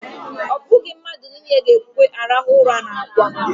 Ọ bụghị mmadụ niile na-ekwe arahụ ụra n'ákwá.